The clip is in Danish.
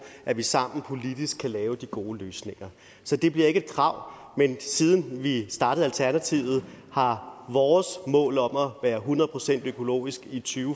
at vi sammen politisk lave de gode løsninger så det bliver ikke et krav men siden vi startede alternativet har vores mål om at være hundrede procent økologisk i to